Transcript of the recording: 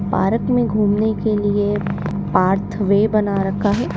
Park में घूमने के लिए पार्थवे बना रखा है।